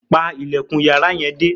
Pa ilẹ̀kùn yàrá yẹn dé!